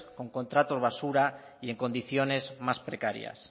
con contratos basura y en condiciones más precarias